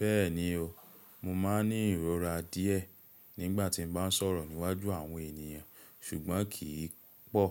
Bẹ́ẹ̀ni o, mo máa ń ní ìrora díẹ́ nígbà tí mo bá ń sọ̀rọ̀ níwájú àwọn ènìyàn ṣùgbọ́n kì í pọ̀.